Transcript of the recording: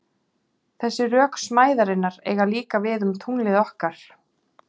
Þessi rök smæðarinnar eiga líka við um tunglið okkar.